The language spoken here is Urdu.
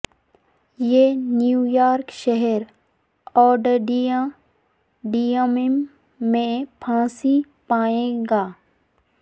یہ نیو یارک شہر اوڈڈیٹیمیم میں پھانسی پائے گا